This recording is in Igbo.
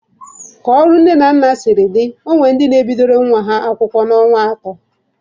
Ka ọrụ nne na nna siri dị, ọ nwere ndị na-ebidoro nwa ọhụrụ ha akwụkwọ n'ọnwa atọ.